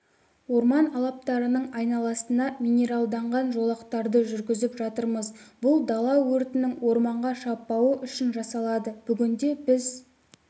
орман алаптарының айналасына минералданған жолақтарды жүргізіп жатырмыз бұл дала өртінің орманға шаппауы үшін жасалады бүгінде біз